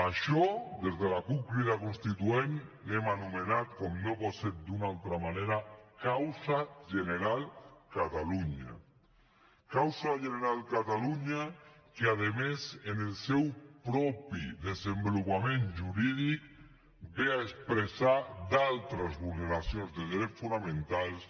això des de la cup crida constituent ho hem anomenat com no pot ser d’una altra manera causa general catalunya causa general catalunya que a més en el seu propi desenvolupament jurídic ve a expressar altres vulneracions de drets fonamentals